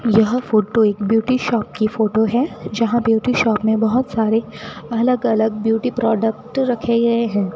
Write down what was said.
यह फोटो एक beauty shop की फोटो है जहां ब्यूटी शॉप में बहुत सारे अलग अलग ब्यूटी प्रोडक्ट रखे गए हैं।